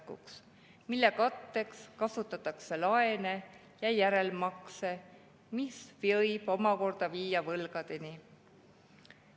katteks kasutatakse laene ja järelmakse, mis võib omakorda viia võlgadeni.